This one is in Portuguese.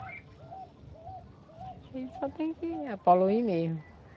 A gente só tem que poluir mesmo.